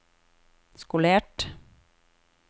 skolert